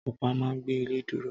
Ọ̀pá a ma gbé ilé dúró